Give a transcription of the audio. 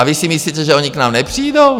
A vy si myslíte, že oni k nám nepřijdou?